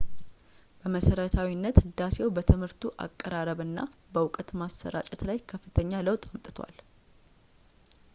በመሰረታዊነት ህዳሴው በትምህርቱ አቀራረብ እና በእውቀት ማሰራጨት ላይ ከፍተኛ ለውጥ አምጥቷል